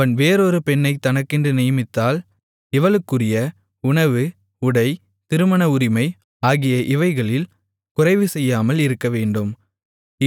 அவன் வேறொரு பெண்ணைத் தனக்கென்று நியமித்தால் இவளுக்குரிய உணவு உடை திருமண உரிமை ஆகிய இவைகளில் குறைவுசெய்யாமல் இருக்கவேண்டும்